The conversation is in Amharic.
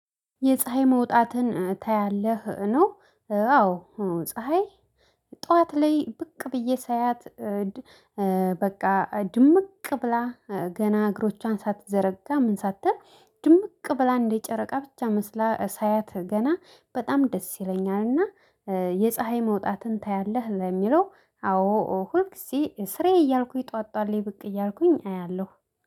የፀሀይ መውጣትን ታያለህ ነው? አዎ ፀሀይ ጠዋት ላይ ብቅ ብዬ ሳያት። በቃ ድምቅ ብላ ገና እግሮቿን ሳትዘረጋ ምን ሳትል ድምቅ ብላ እንደ ጨረቃ ብቻ መስላ ሳያት ገና በጣም ደስ ይለኛልና። የፀሀይ መውጣትን ታያለህ ለሚለው አዎ ሁልጊዜ ስራየ እያልኩኝ ጠዋት ጠዋለ ላይ ብቅ እያልኩኝ አያለሁ